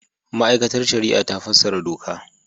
Ma'aikatar Shari'a ta fassara doka.